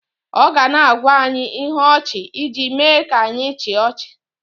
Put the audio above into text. ọ ga na-agwa anyị ihe ọchị iji mee ka anyị chịa ọchị